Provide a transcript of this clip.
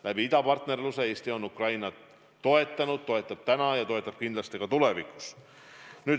Läbi idapartnerluse Eesti on Ukrainat toetanud, toetab täna ja toetab kindlasti ka tulevikus.